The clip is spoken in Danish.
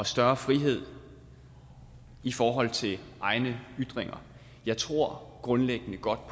større frihed i forhold til egne ytringer jeg tror grundlæggende godt